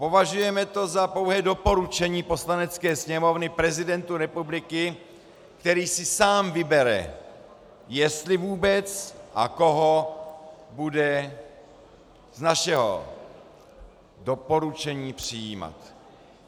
Považujeme to za pouhé doporučení Poslanecké sněmovny prezidentu republiky, který si sám vybere, jestli vůbec a koho bude z našeho doporučení přijímat.